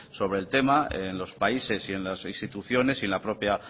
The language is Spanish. sobre el tema en los países y en las instituciones y en la propia